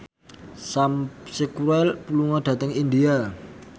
Sam Spruell lunga dhateng India